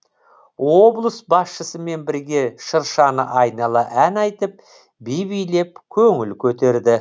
облыс басшысымен бірге шыршаны айнала ән айтып би билеп көңіл көтерді